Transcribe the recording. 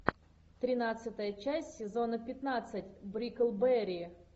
тринадцатая часть сезона пятнадцать бриклберри